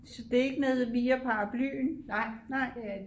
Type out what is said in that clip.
Så det er ikke nede via paraplyen nej